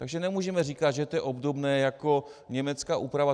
Takže nemůžeme říkat, že to je obdobné jako německá úprava.